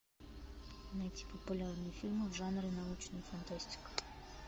найти популярные фильмы в жанре научная фантастика